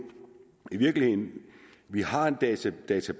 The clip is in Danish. i virkeligheden har en database